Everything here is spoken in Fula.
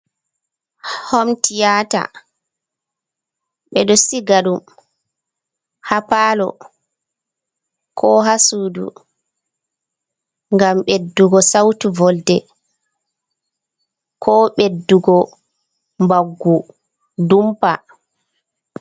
Homtiyata, ɓe ɗo siga ɗum ha palo, ko ha sudu, ngam ɓeddugo sautu volde, ko ɓeddugo baggu dumpa.